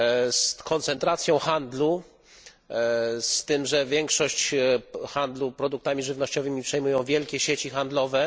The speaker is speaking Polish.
z koncentracją handlu, z tym że większość handlu produktami żywnościowymi przejmują wielkie sieci handlowe.